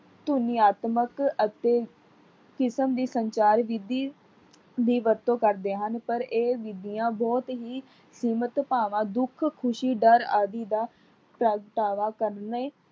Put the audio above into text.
ਧੁਨੀਆਤਮਕ ਅਤੇ ਕਿਸਮ ਦੀ ਸੰਚਾਰ ਵਿਧੀ ਦੀ ਵਰਤੋਂ ਕਰਦੇ ਹਨ ਪਰ ਇਹ ਵਿਧੀਆਂ ਬਹੁਤ ਹੀ ਕੀਮਤ ਭਾਵਾਂ ਦੁੱਖ, ਖੁਸ਼ੀ, ਡਰ ਆਦਿ ਦਾ ਪ੍ਰਗਟਾਵਾ ਕਰਨੇ